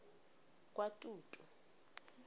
kwatutu